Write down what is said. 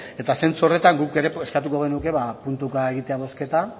eta zentzu horretan guk ere eskatuko genuke puntuka egitea bozketa